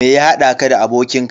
Me ya haɗa ka da abokin ka?